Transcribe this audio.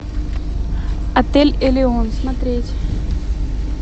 отель элеон смотреть